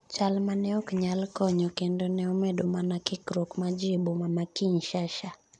chal mane ok nyal konyo kendo ne omedo mana kikruok mag jii e boma ma Kinshasha